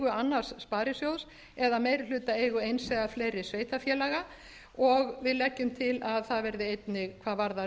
annars sparisjóðs eða meirihlutaeigu eins eða fleiri sveitarfélaga og við leggjum til að það verði einnig hvað varðar